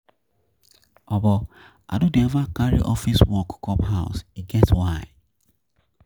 I no dey eva carry office work come house, e get get why.